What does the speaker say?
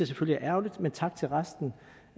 selvfølgelig er ærgerligt men tak til resten